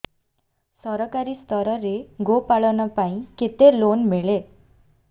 ସରକାରୀ ସ୍ତରରେ ଗୋ ପାଳନ ପାଇଁ କେତେ ଲୋନ୍ ମିଳେ